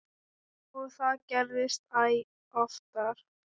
Og það gerðist æ oftar.